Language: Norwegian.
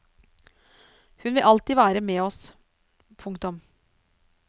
Hun vil alltid være med oss. punktum